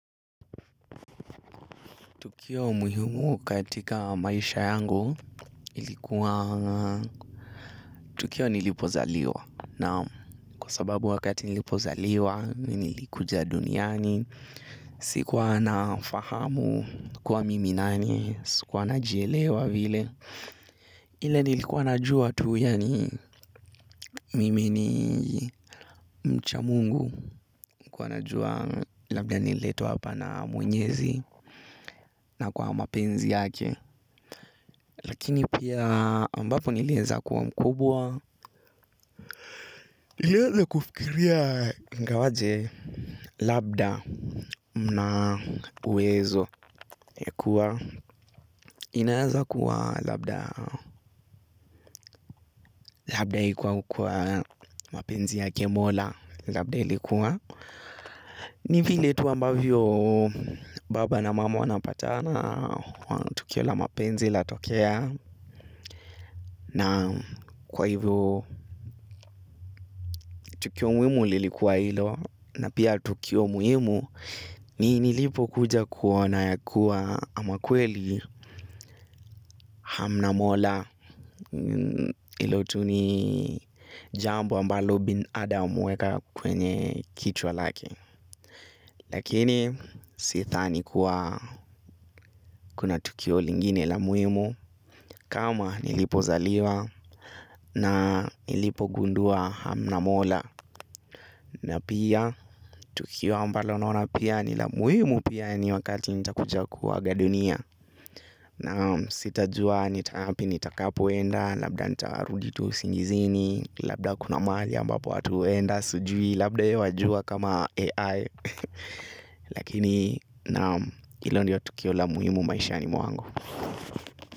Tukio muhimu katika maisha yangu ilikuwa tukio nilipozaliwa na kwa sababu wakati nilipozaliwa nilikuja duniani sikuwa nafahamu kuwa mimi nani sikuwa najielewa vile. Ile nilikuwa najua tu, yaani mimi ni mcha Mungu, nilikuwa najua labda nililetwa hapa na Mwenyezi na kwa mapenzi yake. Lakini pia ambapo niliweza kuwa mkubwa. Niliweza kufikiria ingawaje labda mna uwezo ya kuwa. Inaeza kuwa labda ikuwa kwa mapenzi yake mola labda ilikuwa. Ni vile tu ambavyo baba na mama wanapatana tukio la mapenzi latokea na kwa hivyo tukio muhimu lilikuwa ilo na pia tukio muhimu ni nilipo kuja kuona ya kuwa ama kweli hamna mola hilo tu ni jambo ambalo binadamu huweka kwenye kichwa lake. Lakini sidhani kuwa kuna tukio lingine la muhimu kama nilipozaliwa na nilipogundua hamna mola. Na pia tukio ambalo naona pia ni la muhimu pia ni wakati nitakuja kuaga dunia. Na sijajua ni wapi nitakapoenda, labda nitarudi tu usingizini. Labda kuna mahali ambapo watu huenda, sijui, labda wewe unajua kama AI. Lakini naam hilo ndiyo tukio la muhimu maishani mwangu.